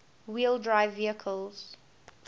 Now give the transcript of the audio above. wheel drive vehicles